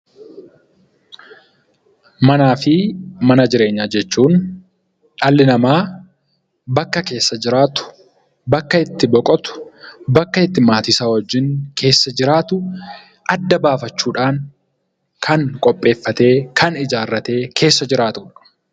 Manaa fi mana jireenyaa jechuun dhali nama bakka keessaa jiraatu, bakka itti boqottu, bakka itti maatii isa wajjiin keessa jiraatu adda bafachuudhan kan qopheeffatee, kan ijaarate keessa jiraatudha.